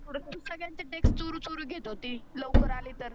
तु सगळ्यांचं टेक्स्ट चोरु चोरु घेत होती लवकर आली तर.